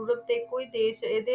ਵਿੱਚ ਬਦਲ ਗਈ